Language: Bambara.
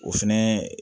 O fɛnɛ